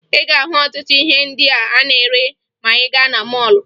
Ị ga-ahụ ọtụtụ ihe ndị a na-ere ma ị gaa na mọọlụ